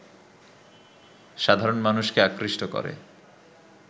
সাধারণ মানুষকে আকৃষ্ট করে